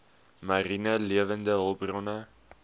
mariene lewende hulpbronne